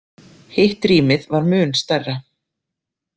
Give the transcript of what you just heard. Hitt rýmið var mun stærra.